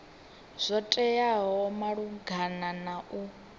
zwo teaho malugana na u